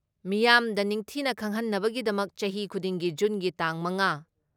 ꯃꯤꯌꯥꯝꯗ ꯅꯤꯡꯊꯤꯅ ꯈꯪꯍꯟꯅꯕꯒꯤꯗꯃꯛ ꯆꯍꯤ ꯈꯨꯗꯤꯡꯒꯤ ꯖꯨꯟꯒꯤ ꯇꯥꯡ ꯃꯉꯥ